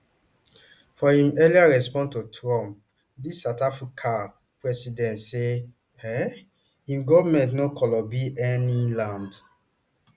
for im earlier response to trump di south africa president say um im goment no kolobi any land